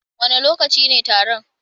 Wane lokaci ne taron?